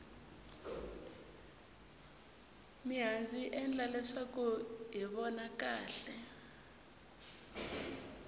mihandzu yi endla kuri hi vona kahle